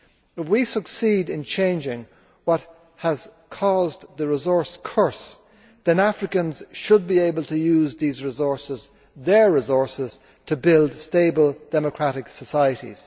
If we succeed in changing what has caused the resource curse, then Africans should be able to use these resources their resources to build stable, democratic societies.